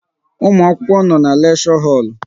Ụmụ akwụkwọ nọ n'leksho holu